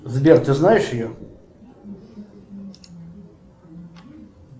сбер ты знаешь ее